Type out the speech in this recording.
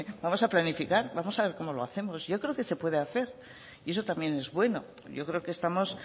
vamos a planificar vamos a ver cómo lo hacemos yo creo que se puede hacer y eso también es bueno yo creo que estamos